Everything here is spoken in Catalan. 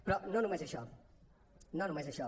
però no només això no només això